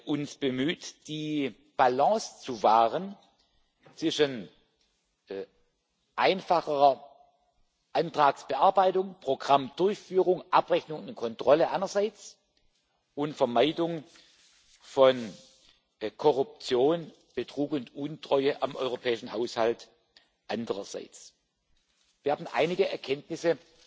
alle uns bemüht, die Balance zu wahren zwischen einfacherer Antragsbearbeitung, Programmdurchführung, Abrechnung und Kontrolle einerseits und Vermeidung von Korruption, Betrug und Untreue am europäischen Haushalt andererseits. Wir haben einige Erkenntnisse